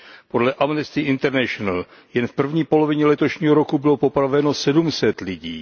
Podle Amnesty International jen v první polovině letošního roku bylo popraveno sedm set lidí.